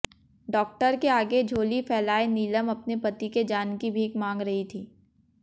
doctor के आगे झोली फैलाए नीलम अपने पति के जान की भीख मांग रही थी